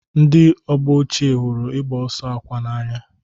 Ndị ọgbọ ochie hụrụ ịgba ọsọ akwa n'anya.